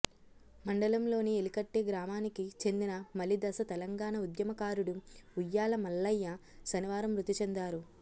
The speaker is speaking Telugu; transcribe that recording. మండలంలోని ఎలికట్టె గ్రామానికి చెందిన మలిదశ తెలంగాణ ఉద్యమ కారుడు ఉయ్యాల మల్లయ్య శనివారం మృతి చెందారు